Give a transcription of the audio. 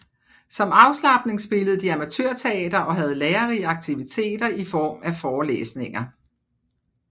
Som afslapning spillede de amatørteater og havde lærerige aktiviteter i form af forelesninger